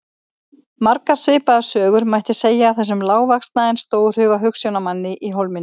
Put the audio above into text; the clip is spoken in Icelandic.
Margar svipaðar sögur mætti segja af þessum lágvaxna en stórhuga hugsjónamanni í Hólminum.